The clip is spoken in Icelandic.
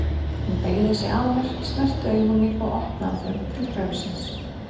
Hún beygði sig að mér, snerti augu mín og opnaði þau til draumsins.